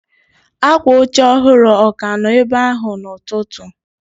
Akwa oche ọhụrụ ọ ka nọ ebe ahụ n'ụtụtụ?